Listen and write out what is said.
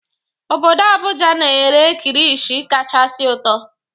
Obodo Abuja na-ere kirishi kachasị ụtọ